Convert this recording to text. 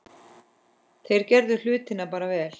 Þeir gerðu hlutina bara vel.